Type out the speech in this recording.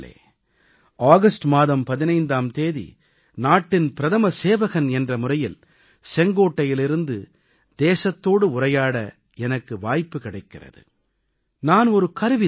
எனதருமை நாட்டுமக்களே ஆகஸ்ட் மாதம் 15ஆம் தேதி நாட்டின் பிரதம சேவகன் என்ற முறையில் செங்கோட்டையிலிருந்து தேசத்தோடு உரையாட எனக்கு வாய்ப்பு கிடைக்கிறது